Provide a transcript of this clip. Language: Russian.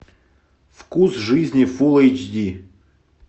вкус жизни фул эйч ди